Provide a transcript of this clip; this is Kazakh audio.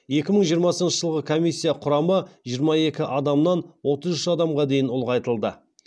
екі мың жиырмасыншы жылы комиссия құрамы жиырма екі адамнан отыз үш адамға дейін ұлғайтылды